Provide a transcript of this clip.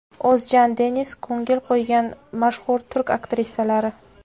O‘zjan Deniz ko‘ngil qo‘ygan mashhur turk aktrisalari .